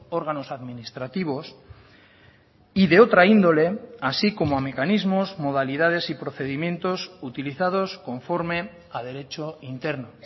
órganos administrativos y de otra índole así como mecanismos modalidades y procedimientos utilizados conforme a derecho interno